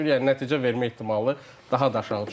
Yəni nəticə vermək ehtimalı daha da aşağı düşür.